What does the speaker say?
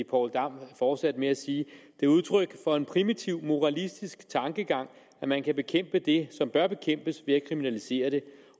poul dam fortsatte med at sige det er udtryk for en primitiv moralistisk tankegang at man kan bekæmpe det som bør bekæmpes ved at kriminalisere det